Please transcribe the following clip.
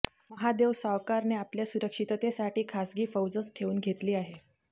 महादेव सावकारने आपल्या सुरक्षिततेसाठी खासगी फौजच ठेवून घेतली आहे